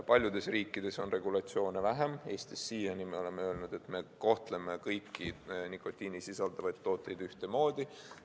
Paljudes riikides on regulatsioone vähem, Eestis siiani me oleme öelnud, et me kohtleme kõiki nikotiini sisaldavaid tooteid ühtemoodi.